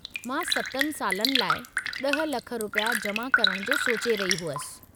मां 7 सालनि लाइ 10 लख रुपया जमा करणु जो सोचे रही हुयसि।